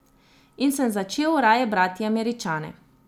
In sem začel raje brati Američane.